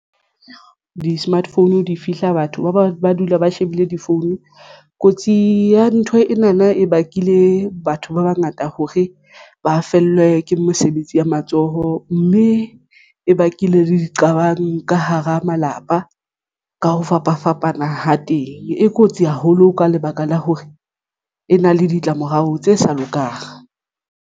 Di-smart phone di fihla batho ba dula ba shebile di-phone kotsi ya ntho ena na e bakile batho ba bangata hore ba fellwe ke mesebetsi ya matsoho mme e bakile le diqabang ka hara malapa. Ka ho fapafapana ho teng e kotsi haholo ka lebaka la hore e na le ditlamorao tse sa lokang.